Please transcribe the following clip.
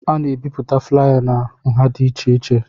A na-ebipụta flaya na nha dị iche iche